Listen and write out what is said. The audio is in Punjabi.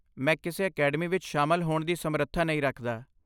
ਮੈਂ ਕਿਸੇ ਅਕੈਡਮੀ ਵਿੱਚ ਸ਼ਾਮਲ ਹੋਣ ਦੀ ਸਮਰੱਥਾ ਨਹੀਂ ਰੱਖਦਾ।